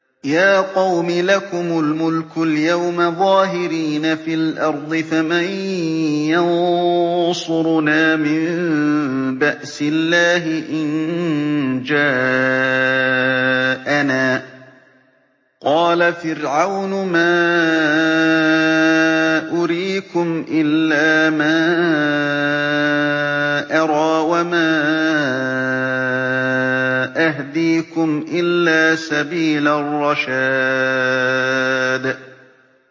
يَا قَوْمِ لَكُمُ الْمُلْكُ الْيَوْمَ ظَاهِرِينَ فِي الْأَرْضِ فَمَن يَنصُرُنَا مِن بَأْسِ اللَّهِ إِن جَاءَنَا ۚ قَالَ فِرْعَوْنُ مَا أُرِيكُمْ إِلَّا مَا أَرَىٰ وَمَا أَهْدِيكُمْ إِلَّا سَبِيلَ الرَّشَادِ